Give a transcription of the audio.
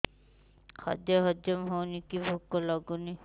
ଖାଦ୍ୟ ହଜମ ହଉନି କି ଭୋକ ଲାଗୁନି